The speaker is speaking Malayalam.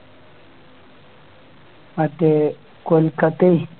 അതെ കൊൽക്കത്തയെ